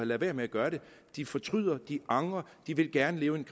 ladet være med at gøre det de fortryder og de angrer de vil gerne leve en